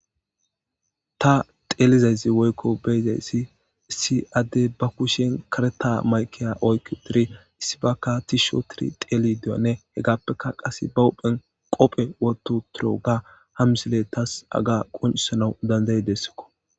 ta xeelizayssi woykko beyizayssi isi adde ba kushen kareta maykeya oyku piri issi bakka tisho tiri xeeli deyanne hegaappeka qase ba hophen qophe woto toro ga hamsile tas aga quncisana dandayi dessikko